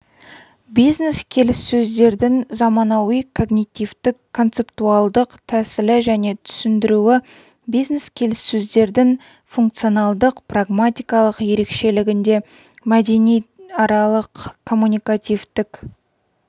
бизнес-келіссөздердің заманауи когнитивтік-концептуалдық тәсілі және түсіндіруі бизнес-келіссөздердің функционалдық-прагматикалық ерекшелігінде мәдениаралық-коммуникативтік